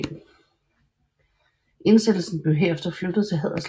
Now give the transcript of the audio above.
Indsættelsen blev herefter flyttet til Haderslev stift